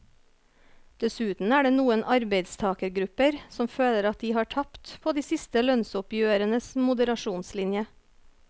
Dessuten er det noen arbeidstagergrupper som føler at de har tapt på de siste lønnsoppgjørenes moderasjonslinje.